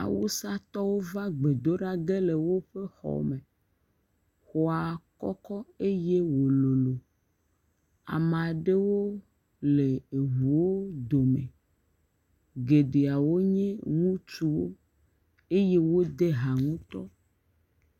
Awusatɔwo va gbedoƒe le woƒe xɔa me. Xɔa kɔkɔ eye wò lolo. Ame aɖewo le eʋuwo dome. Geɖewo nye ŋutsuwo eye wode hã ŋutɔ.